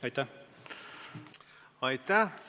Aitäh!